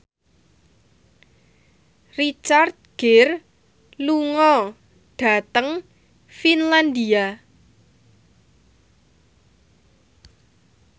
Richard Gere lunga dhateng Finlandia